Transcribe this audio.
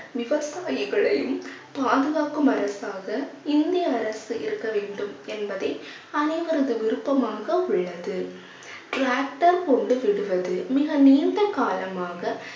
விவசாயிகளையும் பாதுகாக்கும் அரசாக இந்திய அரசு இருக்க வேண்டும் என்பதே அனைவரது விருப்பமாக உள்ளது tractor மிக நீண்ட காலமாக